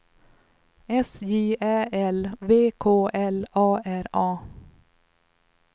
S J Ä L V K L A R A